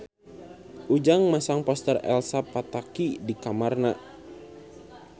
Ujang masang poster Elsa Pataky di kamarna